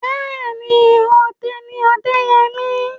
Bẹ́ẹ̀ni, ọdẹ ni Ọdẹ́yẹmí.